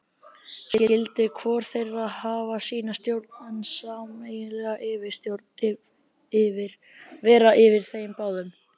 Skyldi hvor þeirra hafa sína stjórn, en sameiginleg yfirstjórn vera yfir þeim báðum.